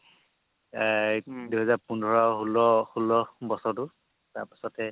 এৰ দুহেজাৰ পোন্ধৰ আৰু ষোল্ল ষোল্ল বছৰটো তাৰপাছতে